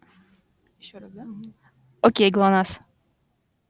ещё раз да угу окей глонассс